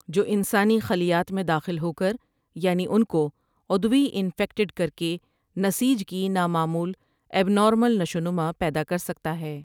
جو انسانی خلیات میں داخل ہوکر یعنی انکو عدوی انفیکٹڈ کرکے نسیج کی نامعمول ابنارمل نشو و نما پیدا کر سکتا ہے ۔